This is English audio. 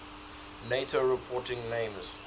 nato reporting names